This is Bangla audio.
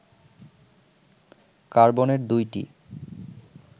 কার্বনের দুইটি